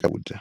swakudya.